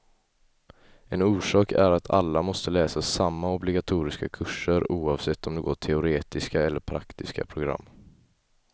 En orsak är att alla måste läsa samma obligatoriska kurser, oavsett om de går teoretiska eller praktiska program.